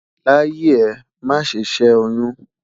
láyé è, má sé ṣé oyún